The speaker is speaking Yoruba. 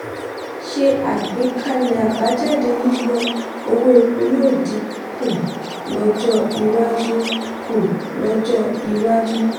ṣe àgbékalẹ̀ àbájáde yíyọ owó epo yóò dín kù lọ́jọ́ iwájú. kù lọ́jọ́ iwájú.